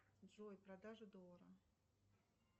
джой продажа доллара